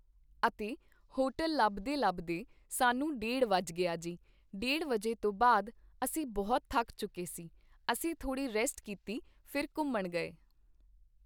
ਅਤੇ ਹੋਟਲ ਲੱਭਦੇ ਲੱਭਦੇ ਸਾਨੂੰ ਡੇਢ ਵੱਜ ਗਿਆ ਜੀ ਡੇਢ ਵਜੇ ਤੋਂ ਬਾਅਦ ਅਸੀਂ ਬਹੁਤ ਥੱਕ ਚੁੱਕੇ ਸੀ ਅਸੀਂ ਥੋੜੀ ਰੈਸਟ ਕੀਤੀ ਫਿਰ ਘੁੰਮਣ ਗਏ